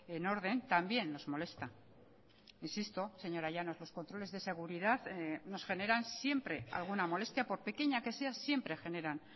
en orden también nos molesta insisto señora llanos los controles de seguridad nos generan siempre alguna molestia por pequeña que sea siempre generan